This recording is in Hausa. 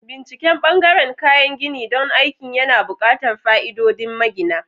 Binciken ɓangaren kayan gini don aikin yana buƙatar fa'idodin magina.